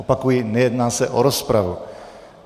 Opakuji, nejedná se o rozpravu.